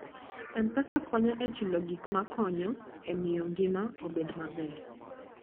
M-Pesa konyo e chulo gik ma konyo e miyo ngima obed maber.